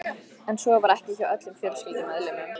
En svo var ekki hjá öllum fjölskyldumeðlimum.